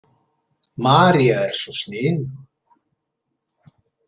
María er svo sniðug.